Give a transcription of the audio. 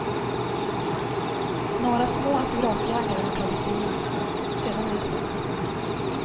Några små autografjägare har tagit sig in, sedan är det stopp.